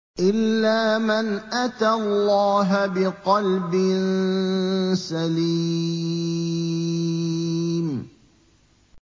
إِلَّا مَنْ أَتَى اللَّهَ بِقَلْبٍ سَلِيمٍ